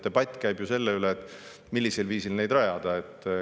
Debatt käib ju selle üle, millisel viisil neid rajada.